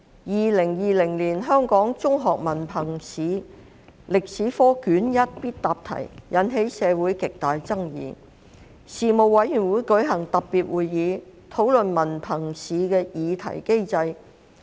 2020年香港中學文憑試歷史科卷一的必答題引起社會極大爭議。事務委員會舉行特別會議，討論文憑試的擬題機制。